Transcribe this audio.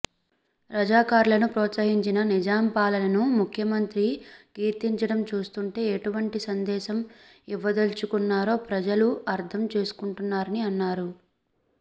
రజాకార్లను ప్రోత్సహించిన నిజాం పాలనను ముఖ్యమంత్రి కీర్తించడం చూస్తుంటే ఎటువంటి సందేశం ఇవ్వదల్చుకున్నారో ప్రజలు అర్థం చేసుకుంటున్నారని అన్నారు